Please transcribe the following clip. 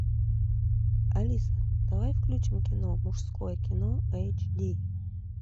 алиса давай включим кино мужское кино эйч ди